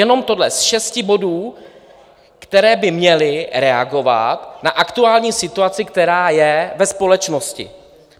Jenom tohle, z šesti bodů, které by měly reagovat na aktuální situaci, která je ve společnosti.